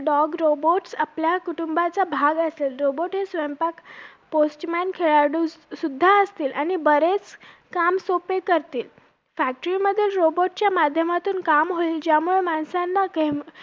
अ मी सध्या sy baf करते आणि मी त्याच subject वरती regarding बोलणार आहे स़ध्या